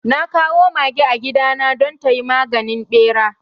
Na kawo mage a gidana don tayi maganin ɓera